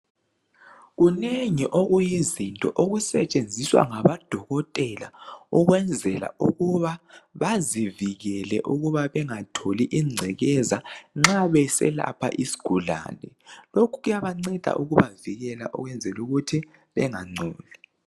Kunengi okuyizinto okusetshenziswa ngabodokotela ukwenzela ukuba bazivikele ukuba bengatholi ingcekeza nxa beselapha isigulane. Lokhu kuyabanceda ukubavikela ukwenzela ukuthi bengangcoli.